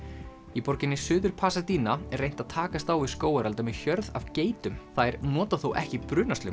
í borginni Suður er reynt að takast á við skógarelda með hjörð af geitum þær nota þó ekki